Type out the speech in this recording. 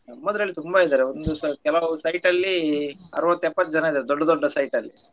ನಮ್ಮದ್ರಲ್ಲಿ ತುಂಬಾ ಇದ್ದಾರೆ ಒಂದು site ಕೆಲವು ಅರುವತ್ತು ಎಪತ್ತು ಜನ ಇದ್ದಾರೆ ದೊಡ್ಡ ದೊಡ್ಡ site ಲ್ಲಿ.